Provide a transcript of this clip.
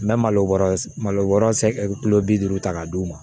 N bɛ malo wɔɔrɔ malo wɔɔrɔ bi duuru ta k'a d'u ma